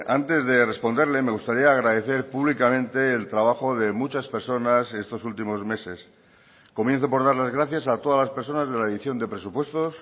antes de responderle me gustaría agradecer públicamente el trabajo de muchas personas estos últimos meses comienzo por dar las gracias a todas las personas de la edición de presupuestos